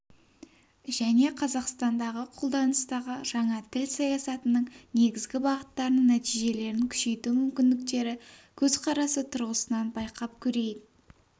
және қазақстандағы қолданыстағы жаңа тіл саясатының негізгі бағыттарының нәтижелерін күшейту мүмкіндіктері көзқарасы тұрғысынан байқап көрейік